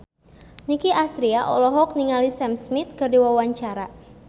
Nicky Astria olohok ningali Sam Smith keur diwawancara